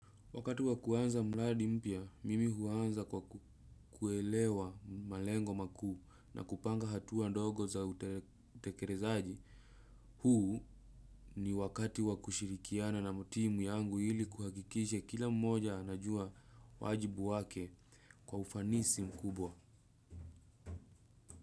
Wakati wakuanza mladi mpia, mimi huanza kwa kuelewa malengo maku na kupanga hatuwa ndogo za utekerezaji. Huu ni wakati wakushirikiana na motimu yangu ili kuhakikishe kila mmoja anajua wajibu wake kwa ufanisi mkubwa.